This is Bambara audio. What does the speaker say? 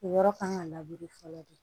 O yɔrɔ kan ka labure fɔlɔ de